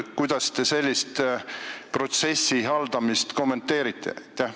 Kuidas te sellist protsessi haldamist kommenteerite?